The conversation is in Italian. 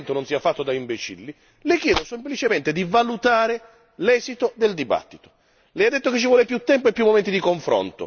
Siccome io non mi ritengo un imbecille, ritengo che questo Parlamento non sia fatto da imbecilli, le chiedo semplicemente di valutare l'esito del dibattito.